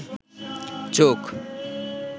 চোখ